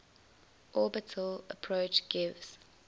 orbital approach gives